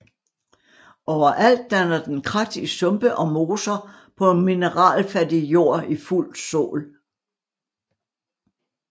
Overalt danner den krat i sumpe og moser på mineralfattig jord i fuld sol